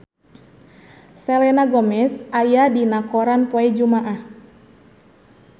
Selena Gomez aya dina koran poe Jumaah